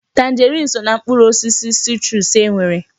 Tanjeriini so ná mkpụrụ osisi sitruusu e nwere.